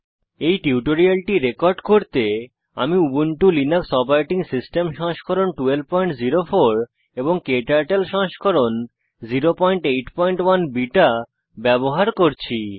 এই টিউটোরিয়ালটি রেকর্ড করতে আমি উবুন্টু লিনাক্স ওএস সংস্করণ 1204 ক্টার্টল সংস্করণ 081 বিটা ব্যবহার করছি